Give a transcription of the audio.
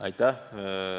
Aitäh!